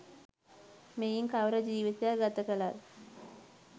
මෙයින් කවර ජීවිතයක් ගත කළත්